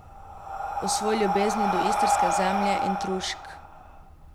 O svoji ljubezni do istrske zemlje in Trušk.